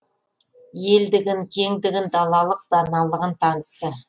елдігін кеңдігін далалық даналығын танытты